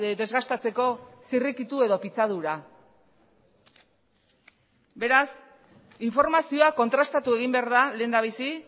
desgastatzeko zirrikitu edo pitzadura beraz informazioa kontrastatu egin behar da lehendabizi